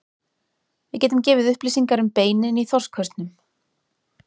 Við getum gefið upplýsingar um beinin í þorskhausnum.